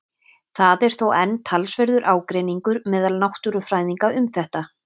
Það er þó enn talsverður ágreiningur meðal náttúrufræðinga um þetta.